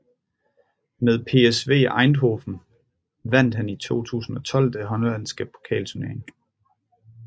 Med PSV Eindhoven vandt han i 2012 den hollandske pokalturnering